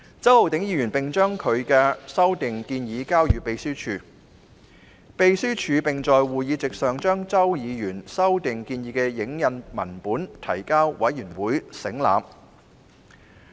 周浩鼎議員在會議前將修訂建議交予秘書處，秘書處在會議席上將修訂建議的影印文本提交委員省覽。